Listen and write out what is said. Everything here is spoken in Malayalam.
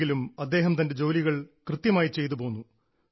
ആശുപത്രിയിൽ ആയെങ്കിലും അദ്ദേഹം തൻറെ ജോലികൾ കൃത്യമായി ചെയ്തുപോന്നു